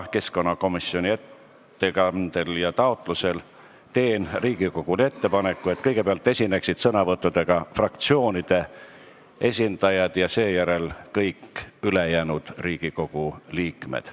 Keskkonnakomisjoni ettepanekul ja taotlusel teen Riigikogule ettepaneku, et kõigepealt võtaksid sõna fraktsioonide esindajad ja seejärel kõik ülejäänud Riigikogu liikmed.